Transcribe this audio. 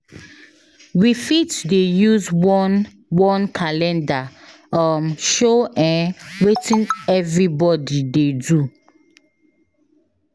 We fit dey use one one calendar um show um wetin everybody dey do.